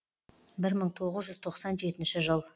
бір мың тоғыз жүз тоқсан жетінші жыл